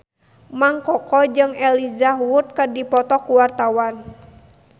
Mang Koko jeung Elijah Wood keur dipoto ku wartawan